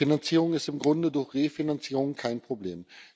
Die Finanzierung ist im Grunde durch Refinanzierung kein Problem.